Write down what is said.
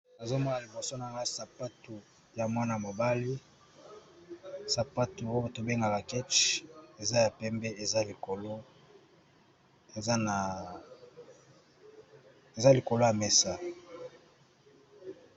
Awa liboso na ga sapatu ya mwana mobali sapatu oyo tobengaka keche eza ya pembe eza likolo ya mesa.